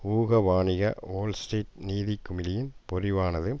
ஊக வாணிக வோல்ஸ்ட்ரீட் நிதிக்குமிழியின் பொறிவானது